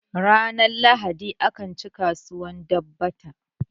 ranar lahadi akan ci kasuwar dabbata